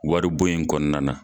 Wari bɔ in kɔnɔna na.